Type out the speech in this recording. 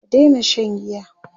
ka Daina Shan giya!